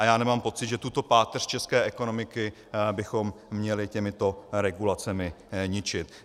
A já nemám pocit, že tuto páteř české ekonomiky bychom měli těmito regulacemi ničit.